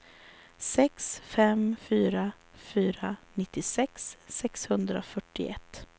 sex fem fyra fyra nittiosex sexhundrafyrtioett